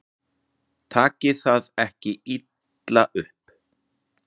Takið það ekki illa upp.